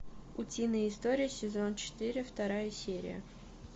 утиные истории сезон четыре вторая серия